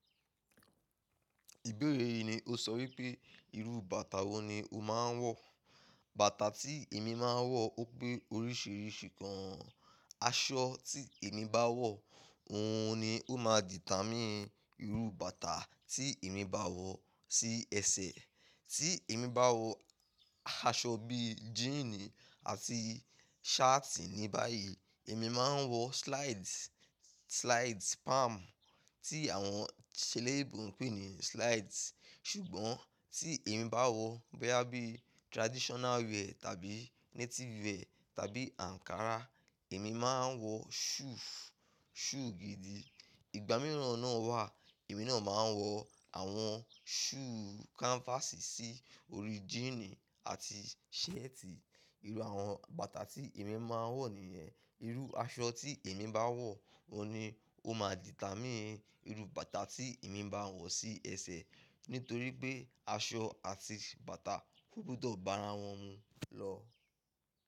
Ìbéèrè yìí ni o sọ wípé, irú bàtà wo ni o máa ń wọ̀? Bàtà tí èmi máa ń wọ̀, ó pé oríṣìíríṣìí kan. Aṣọ tí èmi bá wọ̀, òhun ni ó má dìtàmi irú bàtà tí èmi bá wọ̀ sí ẹsẹ̀. Tí èmi bá wọ aṣọ bíi jíínì àti ṣátì ní báyìí, èmi máa ń wọ slides, slides palm tí àwọn ṣèlèbù ń pè ní slides. Ṣùgbọ́n tí èmi bá wọ obya bíi traditional wear tàbí native wear tàbí ankara, èmi máa ń wọ shoes, shoe gidi. Ìgbà mìràn náà wà, èmi náà máa ń wọ àwọn shoe canvas sí orí jíínì àti ṣẹ́ẹ̀tì. Irú àwọn bàtà tí èmi máa ń wọ̀ nìyẹn. Irú aṣọ tí èmi bá wọ̀, òhun ni ó máa dìtà mín irú bàtà tí èmi bá wọ̀ sí ẹsẹ̀. Nítorí pé aṣọ àti bàtà ogbodọ̀ bá ara wọn mu lọ.